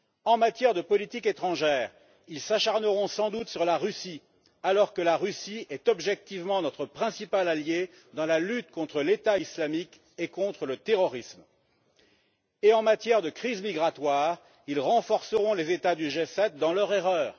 En matière de politique étrangère, ils s'acharneront sans doute sur la Russie, alors que la Russie est objectivement notre principal allié dans la lutte contre l'État islamique et contre le terrorisme. Et en matière de crise migratoire, ils renforceront les États du G7 dans leur erreur.